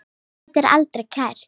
Þetta var aldrei kært.